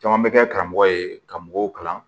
Caman bɛ kɛ karamɔgɔ ye ka mɔgɔw kalan